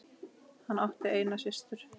Hann átti eina systur.